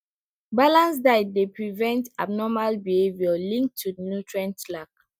balanced diet dey prevent abnormal behavior linked to nutrient lack